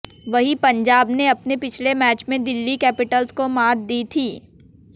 वहीं पंजाब ने अपने पिछले मैच में दिल्ली कैपिटल्स को मात दी थी